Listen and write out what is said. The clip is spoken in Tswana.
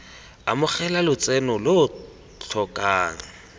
amogela lotseno lo lo tlhokang